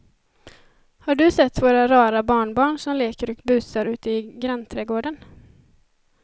Har du sett våra rara barnbarn som leker och busar ute i grannträdgården!